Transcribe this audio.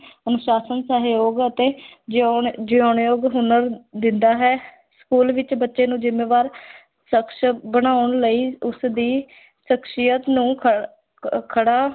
ਅਨੁਸ਼ਾਸਨ, ਸਹਿਯੋਗ ਅਤੇ ਜਿਉਣ ਜਿਉਣਯੋਗ ਹੁਨਰ ਦਿੰਦਾ ਹੈ school ਵਿੱਚ ਬੱਚੇ ਨੂੰ ਜ਼ਿੰਮੇਵਾਰ ਸ਼ਖ਼ਸ ਬਣਾਉਣ ਲਈ ਉਸ ਦੀ ਸ਼ਖ਼ਸੀਅਤ ਨੂੰ ਖ ਕ ਖੜ੍ਹਾ